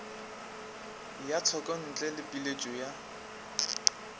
ya tshekontle le pheletšo ya